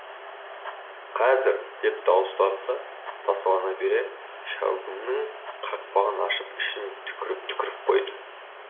қазір деп дауыстады да тасалана бере шәугімнің қақпағын ашып ішіне түкіріп түкіріп қойды